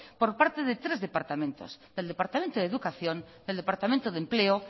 por parte de tres departamentos del departamento de educación del departamento de empleo